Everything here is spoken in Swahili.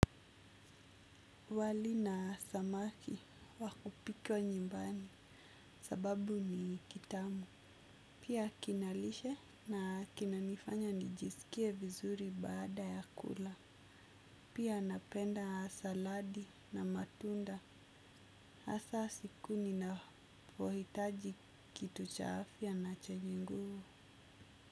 Wali na samaki wakupika nyumbani sababu ni kitamu. Pia kinalishe na kinanifanya nijiskie vizuri baada ya kula. Pia napenda saladi na matunda asa siku ninavohitaji kitu cha afya na chenye nguvu.